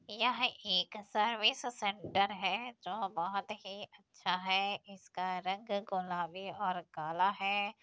यह एक service centre हैजो बहुत ही अच्छा है। इसका रंग गुलाबी और काला है।